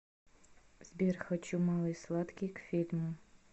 сбер хочу малый сладкий к фильму